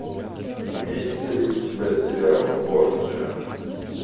имеется ли у тебя сериал борджиа